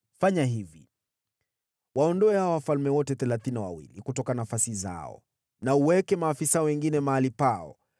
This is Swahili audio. Fanya hivi: Waondoe hao wafalme wote thelathini na wawili kutoka nafasi zao na uweke maafisa wengine mahali pao.